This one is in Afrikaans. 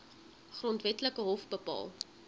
grondwetlike hof bepaal